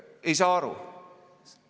Ei saa aru.